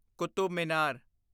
Qutub Minar